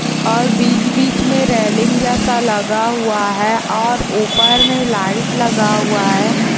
और बीच बीच में रेलिंग जैसा लगा हुआ है और ऊपर में लाइट लगा हुआ है।